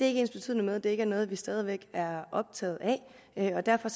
ikke ensbetydende med at det ikke er noget vi stadig væk er optaget af og derfor